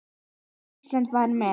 Og Ísland var með.